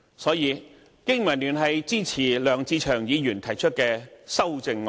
所以，經民聯支持梁志祥議員提出的修正案。